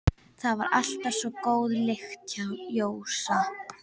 Það var alltaf svo góð lykt hjá Jósa.